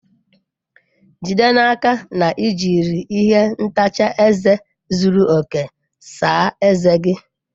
Jide n'aka na i jiri ihe ntacha eze zuru oke saa ezé gị!